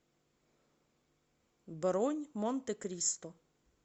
бронь монте кристо